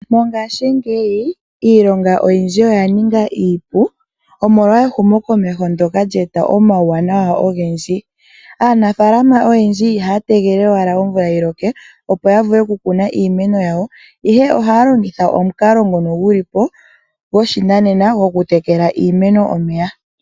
Mongashingeyi iilonga oyindji oya ningi iipu omolwa ehumokomeho ndyoka lyeeta omawuwanawa ogendji. Aanafaalama oyendji ihaya tege owala omvula yiloke opo yavule oku kuna iimeno yawo, ihe ohaya longitha omukalo nguno gulipo goshinanena moku tekela iimeno omeya.